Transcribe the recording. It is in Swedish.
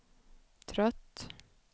trött